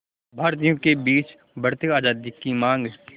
भारतीयों के बीच बढ़ती आज़ादी की मांग